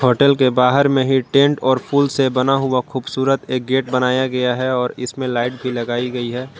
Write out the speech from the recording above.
Hotel के बाहर में ही टेंट और फूलों से बना हुआ खूबसूरत एक गेट बनाया गया है और इसमें लाइट भी लगाई गई है।